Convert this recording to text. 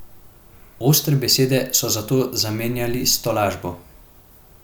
Ostre besede so zato zamenjali s tolažbo.